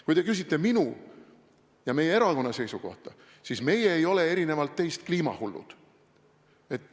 Kui te küsite minu ja meie erakonna seisukohta, siis meie ei ole erinevalt teist kliimahullud.